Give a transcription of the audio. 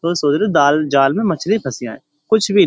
तो सोच रहे दाल जाल में मछली फंसी आए कुछ भी --